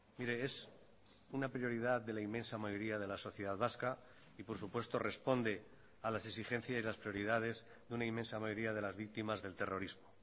mire es una prioridad de la inmensa mayoría de la sociedad vasca y por supuesto responde a las exigencias y las prioridades de una inmensa mayoría de las victimas del terrorismo